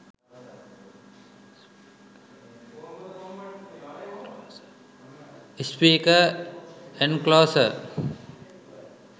speaker enclosure